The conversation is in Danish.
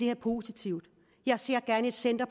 er positivt jeg ser gerne et center